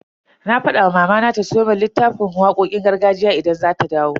Na fada wa mamana ta siyo mun littafin waƙoƙin gargajiya idan za ta dawo.